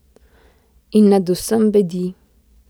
In nad vsem bedi.